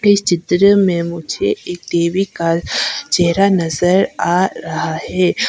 इस चित्र में मुझे एक देवी का चेहरा नजर आ रहा है।